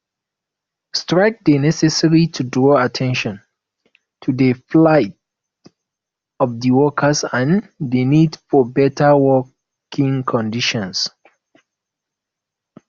strike dey necessary to draw at ten tion to di plight of di workers and di need for beta working conditions